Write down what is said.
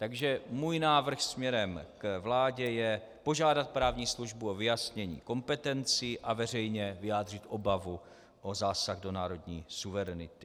Takže můj návrh směrem k vládě je požádat právní službu o vyjasnění kompetencí a veřejně vyjádřit obavu o zásah do národní suverenity.